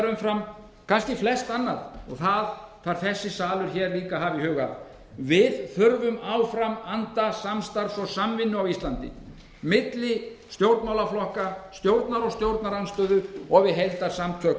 umfram kannski flest annað og það þarf þessi salur hér líka að hafa í huga við þurfum áfram anda samstarfs og samvinnu á íslandi milli stjórnmálaflokka stjórnar og stjórnarandstöðu og við heildarsamtök